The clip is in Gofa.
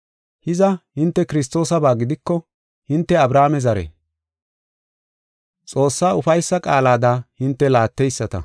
Hiza, hinte Kiristoosaba gidiko hinte Abrahaame zare. Xoossaa ufaysa qaalada hinte laatteyisata.